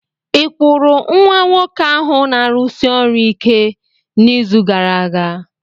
Ị kwụrụ nwa nwoke ahụ na-arụsi ọrụ ike n'izu gara aga?